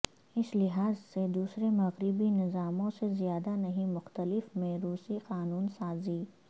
اس لحاظ سے دوسرے مغربی نظاموں سے زیادہ نہیں مختلف میں روسی قانون سازی